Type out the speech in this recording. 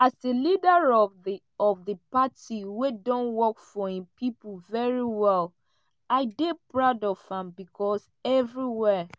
as a leader of di of di party wey don work for im pipo very well i dey proud of am becos evriwia